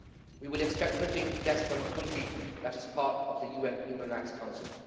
We would expect nothing less from a country that is part of the UN Human Rights Council.